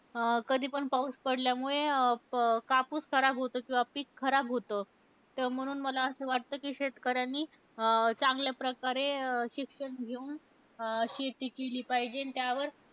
अं कधीपण पाऊस पडल्यामुळे क कापूस खराब होतो, किंवा पिक खराब होतं. तर म्हणून मला असं वाटतं की शेतकऱ्यानी अं चांगल्या प्रकारे अं शिक्षण घेऊन शेती केली पाहिजे. आणि त्यावर